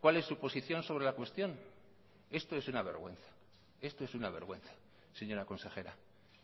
cuál es su posición sobre la cuestión esto es una vergüenza esto es una vergüenza señora consejera